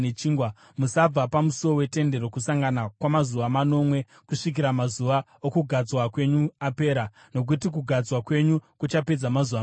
Musabva pamusuo weTende Rokusangana kwamazuva manomwe kusvikira mazuva okugadzwa kwenyu apera, nokuti kugadzwa kwenyu kuchapedza mazuva manomwe.